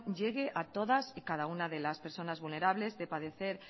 llegue a todas y cada una de las personas vulnerables de padecer